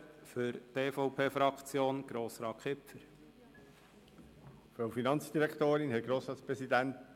Für die EVP-Fraktion hat Grossrat Kipfer das Wort.